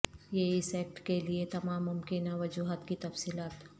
یہ اس ایکٹ کے لئے تمام ممکنہ وجوہات کی تفصیلات